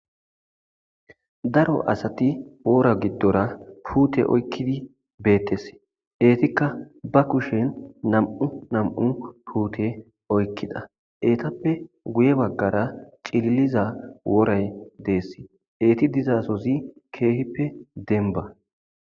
Daro asti wora gidora puutte oykkidi beetees. Ettikka ba kushshen nam7u nam7u puute oykkida. Ettappe guyye baggara cililiza woray dees. Etti dizasozi keehippe dembba.